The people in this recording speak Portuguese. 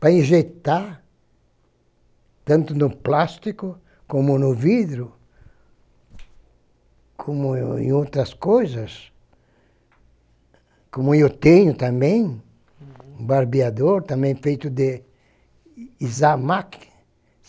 para injetar, tanto no plástico como no vidro, como é em outras coisas, como eu tenho também, uhum, um barbeador também feito de isamaq.